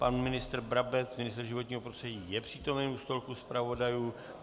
Pan ministr Brabec, ministr životního prostředí, je přítomen u stolku zpravodajů.